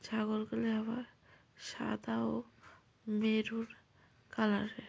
ছাগলগুলি আবার সাদা ও মেরুর কালার -এর।